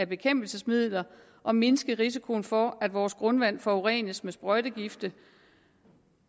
bekæmpelsesmidler og mindske risikoen for at vores grundvand forurenes med sprøjtegifte